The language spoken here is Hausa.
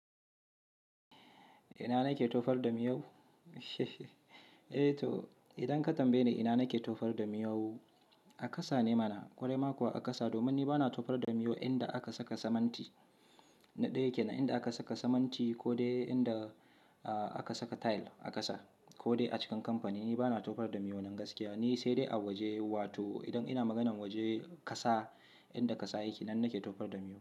Ina nake tofar da miyau? Eh to idan ka tambaye ni ina nake tofar da miyau, a ƙasa ne mana. Kwarai ma kuwa a ƙasa domin ni bana tofar damiyau inda aka saka siminti. Na ɗaya kene inda aka saka siminti ko dai inda aka saka tile a ƙasa ko dai a cikin kamfani. Ni bana tofar damuwa nan gaskiya. Ni sai dai a waje wato idan ina maganan waje ƙasa inda ƙasa yake nan nake tofar damuwa.